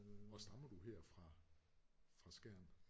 Og stammer du her fra fra Skjern?